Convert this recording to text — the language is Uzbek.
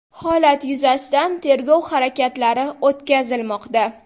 Holat yuzasidan tergov harakatlari o‘tkazilmoqda.